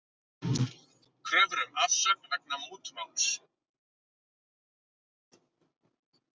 Kröfur um afsögn vegna mútumáls